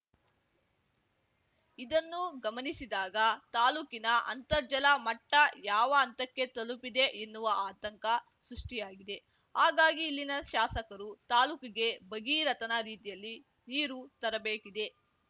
ಇದನ್ನು ಗಮನಿಸಿದಾಗ ತಾಲೂಕಿನ ಅಂತರ್ಜಲ ಮಟ್ಟಯಾವ ಹಂತಕ್ಕೆ ತಲುಪಿದೆ ಎನ್ನುವ ಆತಂಕ ಸೃಷ್ಠಿಯಾಗಿದೆ ಹಾಗಾಗಿ ಇಲ್ಲಿನ ಶಾಸಕರು ತಾಲೂಕಿಗೆ ಭಗೀರಥನ ರೀತಿಯಲ್ಲಿ ನೀರು ತರಬೇಕಿದೆ